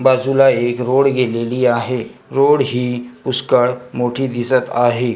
बाजूला एक रोड गेलेली आहे रोड ही पुष्कळ मोठी दिसत आहे.